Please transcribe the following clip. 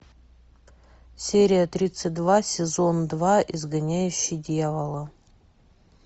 серия тридцать два сезон два изгоняющий дьявола